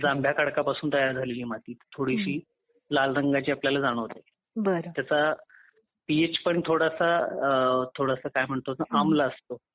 जांभळ्या खडकापासून तयार झालेली माती थोडीशी लाल रंगाची आपल्याला जाणवते. पीएच पण थोडासा काय म्हणतात ते अमला असतो.